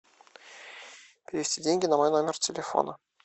перевести деньги на мой номер телефона